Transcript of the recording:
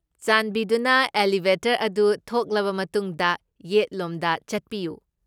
ꯆꯥꯟꯕꯤꯗꯨꯅ ꯑꯦꯂꯤꯚꯦꯇꯔ ꯑꯗꯨ ꯊꯣꯛꯂꯕ ꯃꯇꯨꯡꯗ ꯌꯦꯠꯂꯣꯝꯗ ꯆꯠꯄꯤꯌꯨ꯫